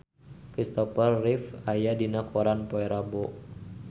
Christopher Reeve aya dina koran poe Rebo